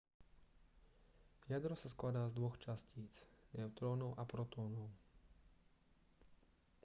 jadro sa skladá z dvoch častíc neutrónov a protónov